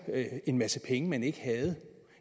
en masse penge man ikke havde